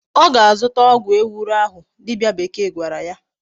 O ga-azuta ogwu ewuro ahu dibia bekee gwara ya